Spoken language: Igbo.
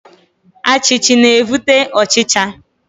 Achichi na evute ochicha.